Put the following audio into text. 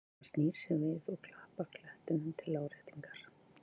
Hann snýr sér við og klappar klettinum til áréttingar.